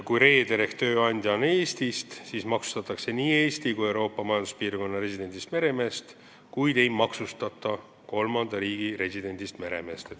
Kui reeder ehk tööandja on Eestist, siis maksustatakse nii Eesti kui Euroopa Majanduspiirkonna residendist meremeest, kuid ei maksustata kolmanda riigi residendist meremeest.